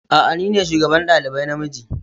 A'a ni ne shugaban dalibai na miji.